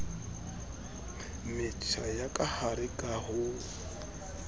metjha ya kahare ka ho